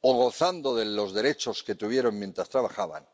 o gozando de los derechos que adquirieron mientras trabajaban.